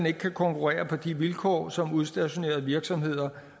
ikke kan konkurrere på de vilkår som udstationerede virksomheder